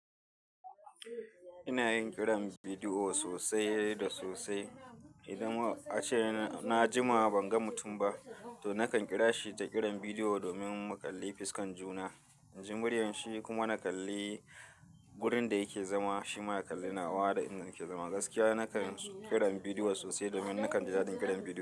Ina yin kiran bidiyo sosai da sosai. Idan ace na jima ban ga mutum ba, to nakan kira shi da kiran bidiyo domin mu kalli fiskan juna, inji muryar shi kuma na kalli wurin da yake zama, shi ma ya kalli na wa da inda nake zama. Gaskiya nakan kiran bidiyo sosai domin nakan ji dadin kiran bidiyo.